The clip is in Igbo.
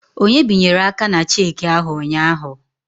Onye binyere aka na cheki ahụ ụnyaahụ?